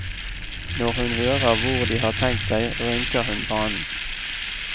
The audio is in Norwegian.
Når hun hører hvor de har tenkt seg, rynker hun pannen.